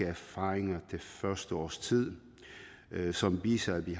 erfaringer det første års tid som viser at vi